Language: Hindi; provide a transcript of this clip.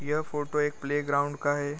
यह फोटो एक प्लेग्राउंड का है।